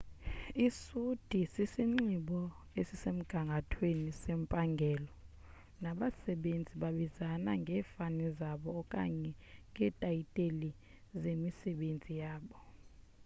isuti sisinxibo esisemgangathweni sempangelo nabasebenzi babizana ngefani zabo okanye ngeetaytile zemisebenzi yabo